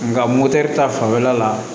Nka motɛri ta fanfɛla la